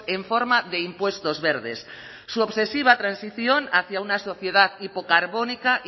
en forma de impuestos verdes su obsesiva transición hacia una sociedad hipocarbónica